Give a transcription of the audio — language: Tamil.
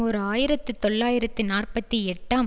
ஓர் ஆயிரத்து தொள்ளாயிரத்தி நாற்பத்தி எட்டாம்